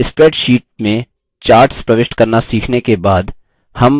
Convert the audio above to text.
spreadsheet में charts प्रविष्ट करना सीखने के बाद